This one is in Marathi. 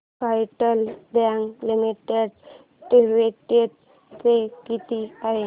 federal Bank Limited dividend pay किती आहे